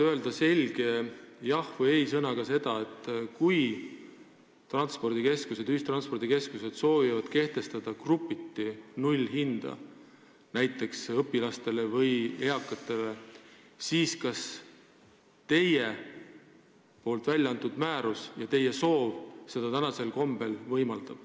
Öelge selge jah- või ei-sõnaga seda, et kui ühistranspordikeskused soovivad kehtestada grupiti nullhinda, näiteks õpilastele või eakatele, siis kas teie välja antud määrus seda sellisel kombel võimaldab.